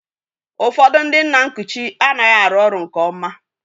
Ụfọdụ ndị nna nkuchi anaghị arụ ọrụ nke nna